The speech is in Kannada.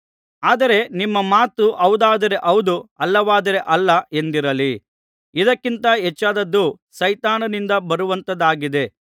ಆದರೆ ನಿಮ್ಮ ಮಾತು ಹೌದಾದರೆ ಹೌದು ಅಲ್ಲವಾದರೆ ಅಲ್ಲ ಎಂದಿರಲಿ ಇದಕ್ಕಿಂತ ಹೆಚ್ಚಾದದ್ದು ಸೈತಾನನಿಂದ ಬರುವಂತಹದ್ದಾಗಿದೆ